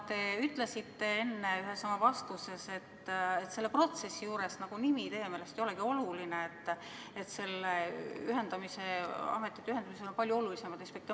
Te ütlesite enne ühes oma vastuses, et selle protsessi juures nimi teie meelest ei olegi oluline, et nende ametite ühendamisel on palju olulisemaid aspekte.